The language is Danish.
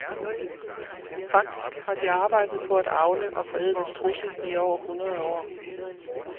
Faktisk har de arbejdet på at avle og forædle strudse i over hundrede år.